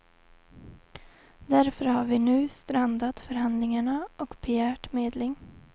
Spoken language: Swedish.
Därför har vi nu strandat förhandlingarna och begärt medling.